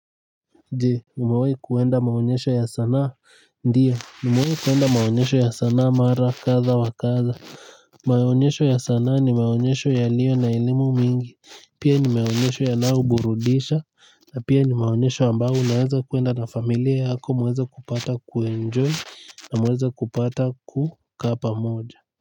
Je, umewai kuenda maonyesho ya sanaa? Ndiyo, nimewai kuenda maonyesho ya sanaa mara kadha wa kadha. Maonyesho ya sanaa ni maonyesho yaliyo na elimu mingi. Pia ni maonyesho yanaoburudisha na pia ni maonyesho ambao unaweza kuenda na familia yako mweze kupata kuenjoy na mweze kupata kukaa pamoja.